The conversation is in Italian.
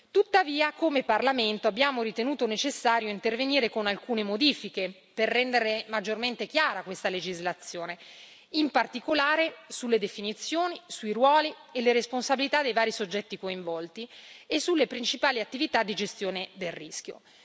Tuttavia, come Parlamento, abbiamo ritenuto necessario intervenire con alcune modifiche per rendere maggiormente chiara questa legislazione, in particolare sulle definizioni, sui ruoli e le responsabilità dei vari soggetti coinvolti e sulle principali attività di gestione del rischio.